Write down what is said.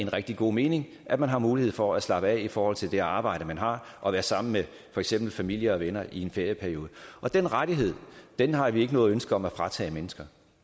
rigtig god mening at man har mulighed for at slappe af i forhold til det arbejde man har og være sammen med for eksempel familie og venner i en ferieperiode den rettighed har vi ikke noget ønske om at fratage mennesker